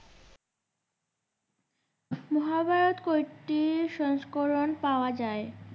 মহাভারত কয়েকটি সংস্করণ পাওয়া যায়।